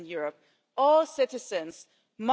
Und da sage ich Ihnen klar und deutlich Nein!